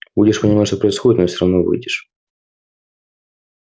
будешь понимать что происходит но всё равно выйдешь